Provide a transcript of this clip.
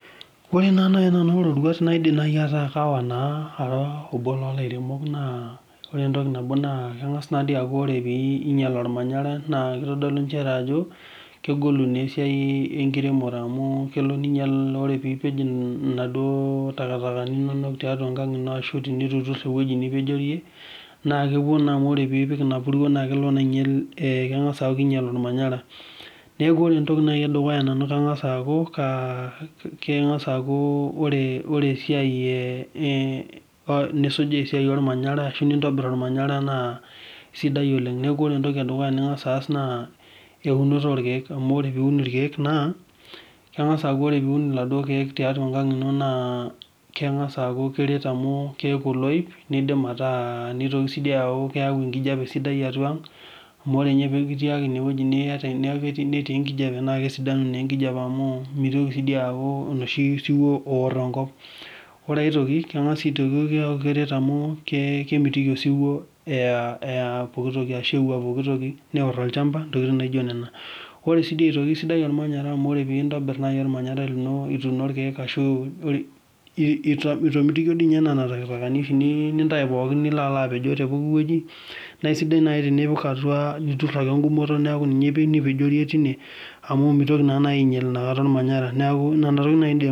Ore iroruat naa naai naidim aawa naa naa kengas naa aaku ore piinyial naa kitodolu nchere ajo kegolu naa esiai enkiremore amu ore piipej inaduo takitakani inono naa kelo emburuo ainyal olmanyara niaku kangas aaku ore esiai e nisuj esiai olmanyara naa sidai oleng Ore enedukuya naa eunoto oolkiek amu keeku oloip nidim ataa nitoki sii aaku keyau enkijape sidai atwa ang amu mitoki aaku osiwuo oor enkop Kemitikii sii osiwuo eya pookitoki neor olchamba ntokiting naijo naijo nena amu ore nasi piintobir olmanyara naa